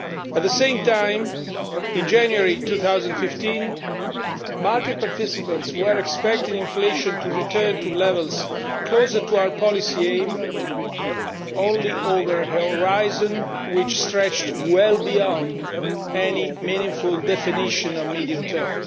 At the same time, in January 2015, market participants were expecting inflation to return to levels closer to our policy aim only over a horizon which stretched well beyond any meaningful definition of medium term.